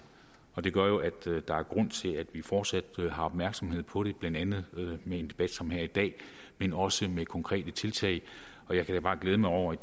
og det gør jo at der er grund til at vi fortsat har opmærksomhed på vi blandt andet med en debat som her i dag men også med konkrete tiltag jeg kan da bare glæde mig over at